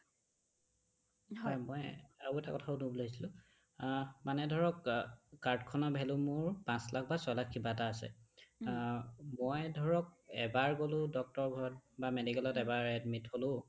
মই আৰু এটা কথা সোধো বুলি ভাবিছিলো আহ্ মানে ধৰক অ card খনৰ value মোৰ পাচ লাখ বা ছয় লাখ কিবা এটা আছে অহ্ মই ধৰকএবাৰ গ'লো doctorৰ বা medicalত এবাৰ admit হ'লো